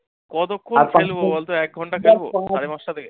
কতক্ষণ খেলবো বলতো এক ঘণ্টা খেলবো সাড়ে পাঁচটা থেকে?